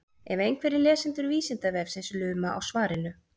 ef einhverjir lesendur vísindavefsins luma á svarinu